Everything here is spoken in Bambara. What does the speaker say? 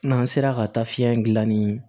N'an sera ka taa fiɲɛ gilan ni